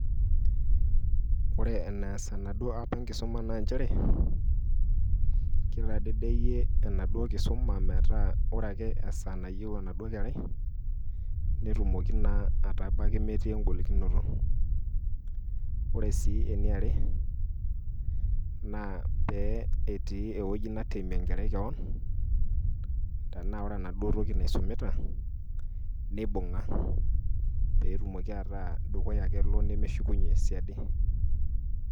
ore enees enaduoo app enkisuma naa nchere, kitadedeyie enaduo kisuma metaa ore ake esaa nayieu enaduo kerai, netumoki naa aitabaki metii eng'olikinoto. ore sii eniare, naa pee etii ewueji natemie enkerai kewon, tenaa ore enaduoo toki naisumita nibung'a pee etumoki ataa dukuya ake elo ,nemeshukunye siadi.